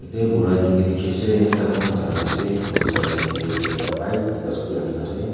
yete bura ekjun tu tiki ase ekta kumba jaka jai ase aro side side dae ekta ekta bike ekta scooty rakina ase.